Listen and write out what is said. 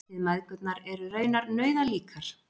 Þið mæðgurnar eruð raunar nauðalíkar